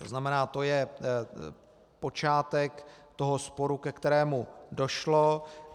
To znamená, to je počátek toho sporu, ke kterému došlo.